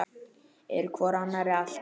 Eru hvor annarri allt.